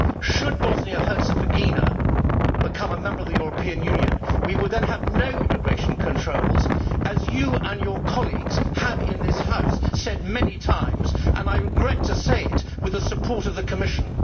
Should Bosnia Herzegovina become a member of the European Union, we would then have no immigration controls, as you and your colleagues have said in this House many times and, I regret to say it, with the support of the Commission.